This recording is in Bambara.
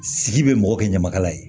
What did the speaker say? Sigi bɛ mɔgɔ kɛ ɲamakala ye